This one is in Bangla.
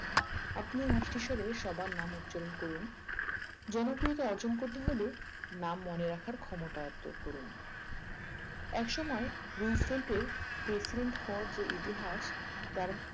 আপনার মিষ্টি স্বরে সবার নাম উচ্চারণ করুন জনপ্রিয়তা অর্জন করতে হলে নাম মনে রাখার ক্ষমতা আয়ত্ত করুন এক সময়ে রুজফেল্টের president হওয়ার যে ইতিহাস তার